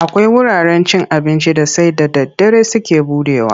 Akwai wuraren abincin da sai da daddare suke buɗewa.